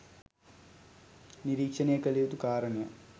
නිරීක්ෂනය කළ යුතු කාරණයක්